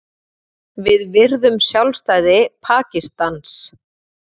Við virðum sjálfstæði Pakistans